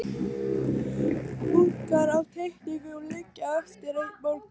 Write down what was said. Bunkar af teikningum liggja eftir einn morgun.